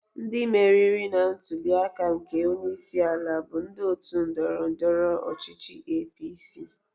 Ndị meriri na ntuli aka nke onye isi ala bụ ndị otu ndọrọ ndọrọ ọchichị APC.